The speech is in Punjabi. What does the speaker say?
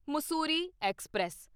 ਮਸੂਰੀ ਐਕਸਪ੍ਰੈਸ